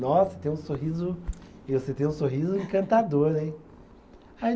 Nossa, tem um sorriso, você tem um sorriso encantador, hein? Aí